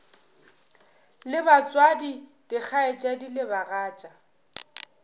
le batswadi dikgaetšedi le bagatša